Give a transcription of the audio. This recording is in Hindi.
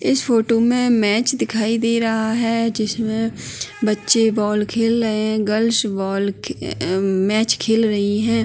इस फोटू में मैच दिखाई दे रह है जिसमें बच्चे बॉल खेल रहे है गर्लश बॉल खे अ-अ मैच खेल रहीं है।